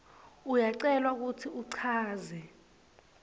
uyacelwa kutsi uchaze